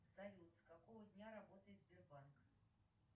салют с какого дня работает сбербанк